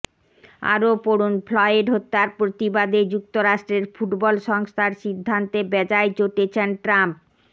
আরও পড়ুনঃফ্লয়েড হত্যার প্রতিবাদে যুক্তরাষ্ট্রের ফুটবল সংস্থার সিদ্ধান্তে বেজায় চটেছেন ট্রাম্প